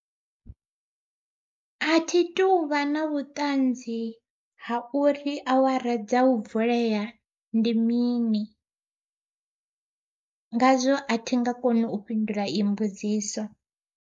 A thi tuvha na vhuṱanzi ha uri awara dza u vulea ndi mini, ngazwo a thi nga kona u fhindula iyi mbudziso.